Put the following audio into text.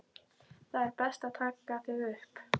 Það er best að taka þig upp.